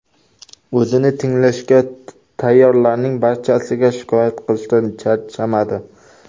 O‘zini tinglashga tayyorlarning barchasiga shikoyat qilishdan charchamadi.